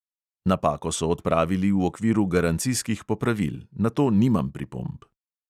Napako so odpravili v okviru garancijskih popravil, na to nimam pripomb.